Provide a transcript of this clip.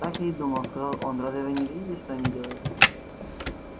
так я и думал сказал он разве вы не видите что они делают